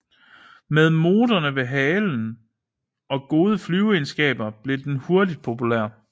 Med motorerne ved halen og gode flyveegenskaber blev den hurtigt populær